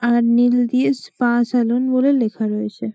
আর নীল দিয়ে spa salon বলে লেখা রয়েছে।